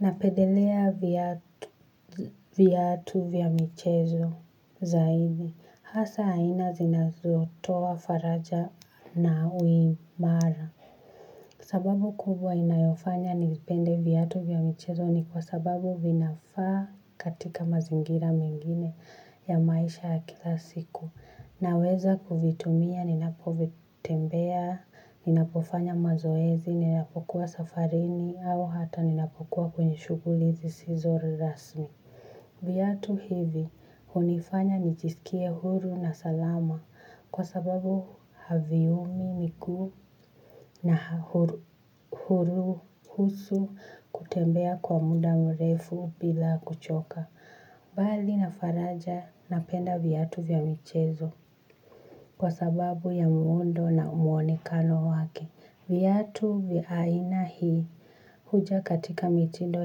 Napendelea viatu vya michezo zaidi. Hasa aina zinazotoa faraja na uimara. Sababu kubwa inayofanya nipende viatu vya michezo ni kwa sababu vinafaa katika mazingira mengine ya maisha ya kila siku. Naweza kuvitumia, ninapovitembea, ninapofanya mazoezi, ninapokuwa safarini, au hata ninapokuwa kwenye shughuli zisizo rasmi. Viatu hivi, hunifanya nijisikie huru na salama kwa sababu haviumi miguu na uhuru haswa kutembea kwa muda mrefu bila kuchoka. Mbali na faraja napenda viatu vya michezo kwa sababu ya muundo na mwonekano wake. Viatu vya aina hii huja katika mitindo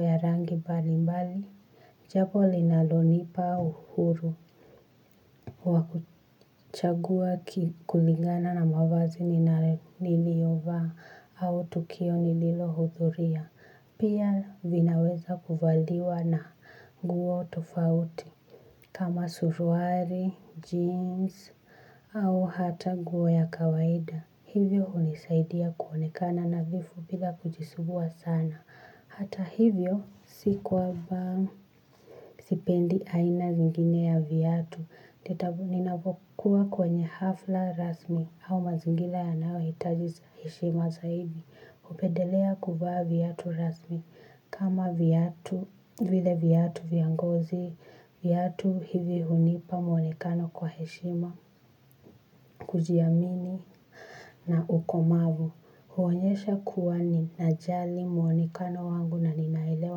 ya rangi mbali mbali. Jambo linalonipa uhuru wa kuchagua kulingana na mavazi niliyovaa au tukio nililohudhuria. Pia vinaweza kuvaliwa na nguo tofauti kama suruali, jeans au hata nguo ya kawaida. Hivyo hunisaidia kuonekana nadhifu bila kujisumbua sana. Hata hivyo si kwamba sipendi aina zingine ya viatu. Ninapokuwa kwenye hafla rasmi au mazingira yanaohitaji heshima zaidi. Hupendelea kuvaa viatu rasmi kama viatu vile viatu vya ngozi, viatu hivi hunipa mwonekano kwa heshima, kujiamini na ukomavu. Huonyesha kuwa ninajali mwonekano wangu na ninaelewa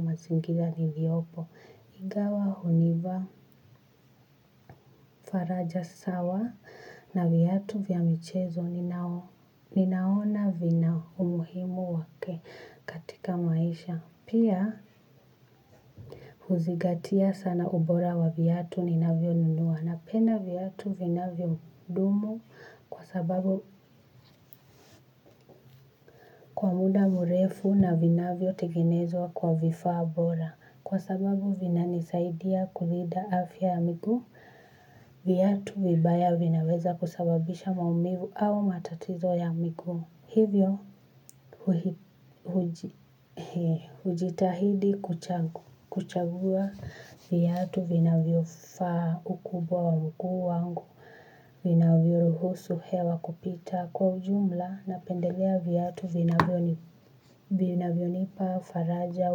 mazingira niliopo. Ingawa hunivaa, faraja sawa na viatu vya michezo ninaona vina umuhimu wake. Katika maisha. Pia huzingatia sana ubora wa viatu ninavyonunua napenda viatu vinavyodumu kwa sababu muda mrefu na vinavyotengenezwa kwa vifaa bora. Kwa sababu vinanisaidia kulinda afya ya miguu, viatu vibaya vinaweza kusababisha maumivu au matatizo ya miguu. Hivyo hujitahidi kuchagua viatu vinavyofaa ukubwa wa mguu wangu vinavyoruhusu hewa kupita kwa ujumla napendelea viatu vinavyonipa faraja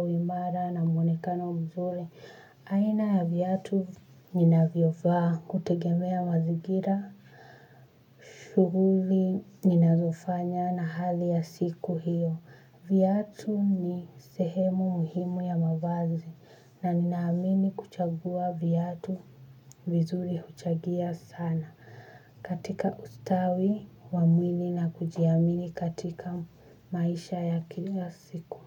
uimara na mwonekano mzuri. Aina ya viatu ninavyovaa hutegemea mazingira shughuli ninazofanya na hali ya siku hiyo. Viatu ni sehemu muhimu ya mavazi na ninaamini kuchagua viatu vizuri huchangia sana katika ustawi wa mwili na kujiamini katika maisha ya kila siku.